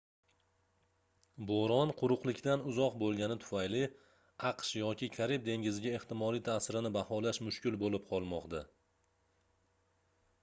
boʻron quruqlikdan uzoq boʻlgani tufayli aqsh yoki karib dengiziga ehtimoliy taʼsirini baholash mushkul boʻlib qolmoqda